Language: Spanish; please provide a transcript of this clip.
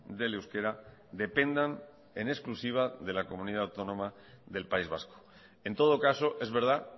del euskera dependan en exclusiva de la comunidad autónoma del país vasco en todo caso es verdad